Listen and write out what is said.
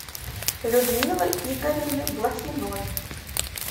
людмилы игоревны блохиной